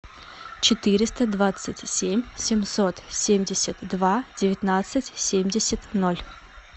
четыреста двадцать семь семьсот семьдесят два девятнадцать семьдесят ноль